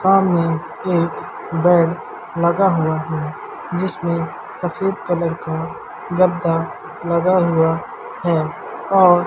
सामने एक बेड लगा हुआ हैं जिसमें सफेद कलर का गद्दा लगा हुआ है और --